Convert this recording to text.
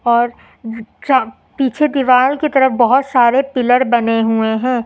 और पीछे दीवार की तरफ बहोत सारे पिलर बने हुए हैं।